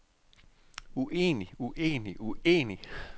uenig uenig uenig